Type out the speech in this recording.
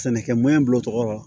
Sɛnɛkɛ bulo tɔgɔ la